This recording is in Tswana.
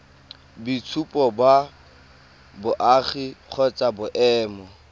boitshupo ba boagi kgotsa boemo